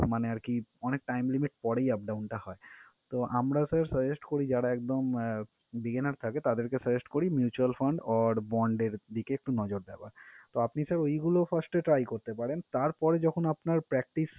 মানে আরকি অনেক time limit পরেই up down টা হয়। তো আমরা sir, suggest করি যারা একদম আহ begainner থাকে তাঁদেরকে suggest করি mutual fund or bond এর দিকে একটু নজর দেওয়ার। তো আপনি sir ওইগুলো first এ try করতে পারেন তারপরে যখন আপনার practice